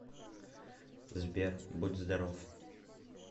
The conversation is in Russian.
сбер будь здоров